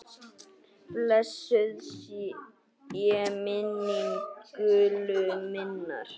Blessuð sé minning Gullu minnar.